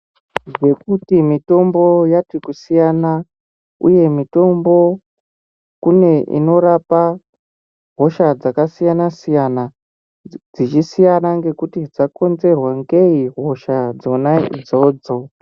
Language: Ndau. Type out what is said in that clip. Nekuti mitombo yati kusiyana uye mitombo kune inorapa hosha dzakasiyana siyana dzichisiyana ngekuti dzakonzerwa ngei hosha dzona idzodzo.